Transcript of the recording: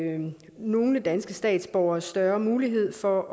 give nogle danske statsborgere større mulighed for